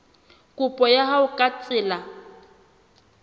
kopo ya hao ka tsela